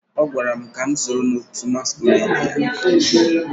ọ gwara m ka m sonye n'òtù masquerade ya